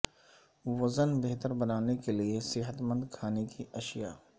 vision بہتر بنانے کے لئے صحت مند کھانے کی اشیاء